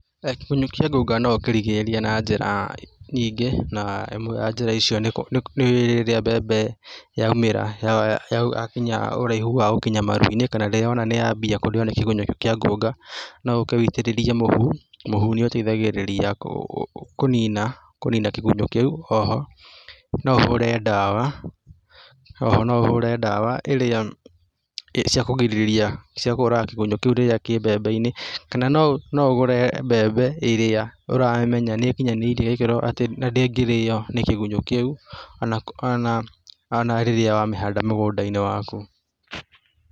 Kĩgunyũ kĩa ngũnga no ũkĩgirĩrĩrie na njĩra nyingĩ, na ĩmwe ya njĩra icio nĩ rĩrĩa mbembe yaumĩra yakinya ũraihu wa gũkinya maru-inĩ, kana rĩrĩa wona nĩ yambia kũrĩo nĩ kĩgunyũ kĩu kĩa ngũnga, no ũke ũitĩrĩrie mũhu, mũhũ nĩ ũteithagĩrĩria kũnina, kũnina kĩgunyũ kĩu, o ho no ũhũre dawa, o ho no ũhũre dawa ĩrĩa, ciakũgirĩrĩria, ciakũraga kĩgunyũ kĩu rĩrĩa kĩ mbembe-inĩ, kana no ũgũre mbembe ĩrĩa ũramenya nĩ ĩkinyanĩirie ikĩro atĩ na ndĩngĩro nĩ kigunyũ kĩu, o na rĩrĩa wamĩhanda mũgũnda-inĩ waku.